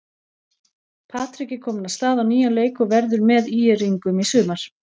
Patrik er kominn af stað á nýjan leik og verður með ÍR-ingum í sumar.